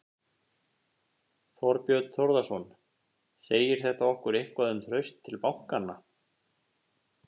Þorbjörn Þórðarson: Segir þetta okkur eitthvað um traust til bankanna?